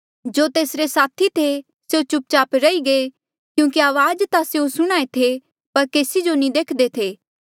जो तेसरे साथी थे स्यों चुप चाप रही गये क्यूंकि अवाज ता स्यों सुणहां ऐें थे पर केसी जो नी देख्दे थे